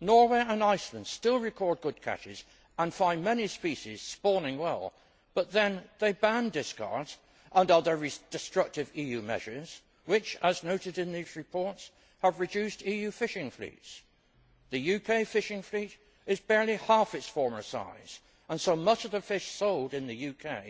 Norway and Iceland still record good catches and find many species spawning well, but then they ban discards and other destructive EU measures which, as noted in these reports, have reduced EU fishing fleets. The UK fishing fleet is barely half its former size and so much of the fish sold in the